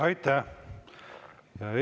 Aitäh!